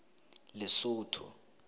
lesotho